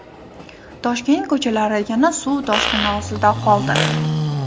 Toshkent ko‘chalari yana suv toshqini ostida qoldi .